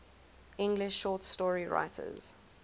english short story writers